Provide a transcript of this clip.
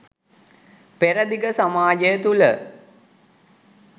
පෙරදිග සමාජය තුළ